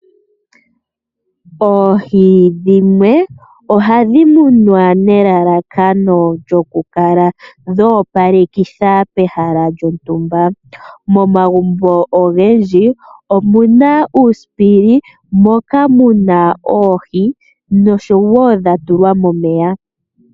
Oohi dhimwe ohadhi munwa nelalakano lyokukala dha opalekitha pehala lyontumba. Momagumbo ogendji oku na uusipili moka mu na oohi dha tulwa momeya.